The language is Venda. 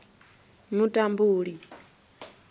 mutambule